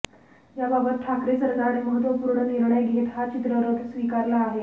याबाबत ठाकरे सरकारने महत्त्वपूर्ण निर्णय घेत हा चित्ररथ स्वीकारला आहे